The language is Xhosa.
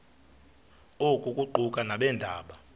oku kuquka nabeendaba